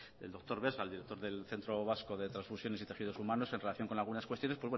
del doctor vesga del director del centro vasco de transfusiones y tejidos humanos en relación con algunas cuestiones